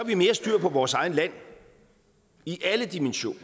vi mere styr på vores eget land i alle dimensioner